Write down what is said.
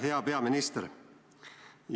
Hea peaminister!